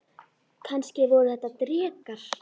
Kannski voru þetta drekar?